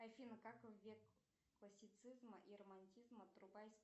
афина как в век классицизма и романтизма